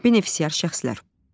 Benefisiar şəxslər.